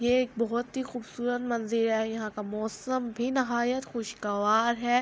اور اسکے اپر سٹیکر لگا ہوا ہے رکسے کے اپر اور یہ رکشا جو ہے اس وقت کھڈا ہوا ہوا ہے